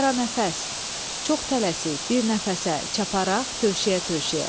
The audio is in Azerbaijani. Qaranəfəs, çox tələsik bir nəfəsə çapparaq, tövşəyə-tövşəyə.